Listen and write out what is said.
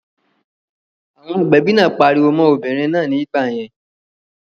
Ìyá agbẹ̀bi náà pariwo mọ́n obìnrin náà ní ìgbà yẹn